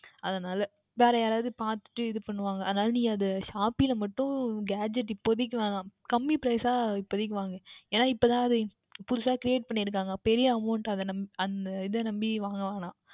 அதனால் வேறு எதவுவது பார்த்துவிட்டு இது பண்ணுவார்கள் அதனால் Shopee யில் மற்றும் Gadget இப்போதைக்கு வேண்டாம் கம்மி Price சாக இப்போதைக்கு வாங்கு ஏனென்றால் இப்பொழுதுதான் அது புதிதாக Create பண்ணி இருக்கிறார்கள் பெரிய Amount அந்த இதை நம்பி வாங்கவேண்டாம்